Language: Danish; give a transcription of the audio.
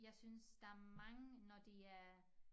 Jeg synes der mange når de er